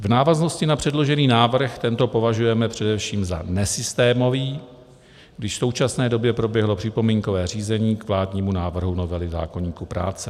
V návaznosti na předložený návrh tento považujeme především za nesystémový, když v současné době proběhlo připomínkové řízení k vládnímu návrhu novely zákoníku práce.